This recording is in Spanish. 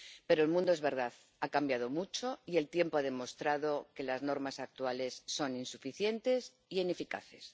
Pero el mundo —es verdad— ha cambiado mucho y el tiempo ha demostrado que las normas actuales son insuficientes e ineficaces.